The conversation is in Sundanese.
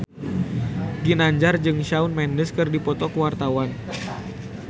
Ginanjar jeung Shawn Mendes keur dipoto ku wartawan